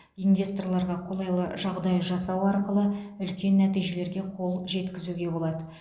инвесторларға қолайлы жағдай жасау арқылы үлкен нәтижелерге қол жеткізуге болады